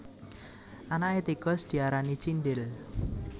Anaké tikus diarani cindhil